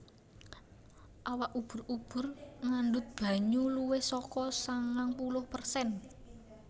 Awak ubur ubur ngandhut banyu luwih saka sangang puluh persen